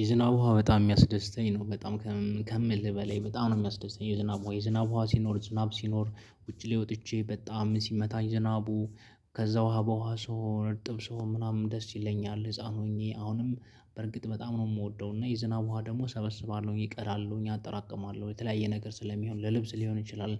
የዝናብ ውሃ በጣም ሚያስደስተኝ ነው በጣም ከምልህ በላይ በጣም ነው የሚያስደስተኝ። የዝናብ ዉሃ ዝናብ ዉሃ ሲኖር ዝናብ ሲኖር ውጪ ላይ ወጥቼ በጣም ሲመታኝ ዝናቡ ከዛ ውሃ በውሃ ስሆን አርጥብ ስሆን ምናምን ደስ ይለኛል። ህፃን ሆኜ አሁንም በርግጥ በጣም ነው የምወደው። እና የዝናብ ውሃ ደግሞ እሰበስባለሁኝ እቀዳለሁኝ አጠራቅማለሁኝ የተለያየ ነገር ስለሚሆን ለልብስ ሊሆን ይችላል።